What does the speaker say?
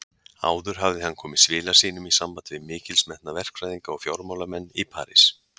Áður hafði hann komið svila sínum í samband við mikilsmetna verkfræðinga og fjármálamenn í París.